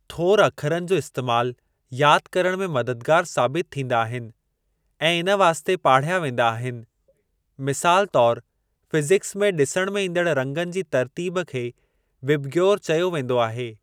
थोर अखरनि जो इस्तेमाल यादि करणु में मददगार साबित थींदा आहिनि ऐं इन वास्ते पाढ़िया वेंदा आहिनि, मिसालु तौर फ़िज़िकस में ॾिसण में ईंदण रंगनि जी तर्तीब खे "विबग्योर" चयो वेंदो आहे।